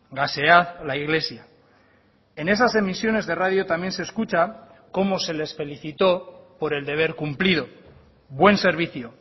gasead la iglesia en esas emisiones de radio también se escucha cómo se les felicitó por el deber cumplido buen servicio